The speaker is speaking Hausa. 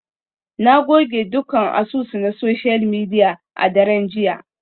Na goge dukkan asusu na social media a daren jiya.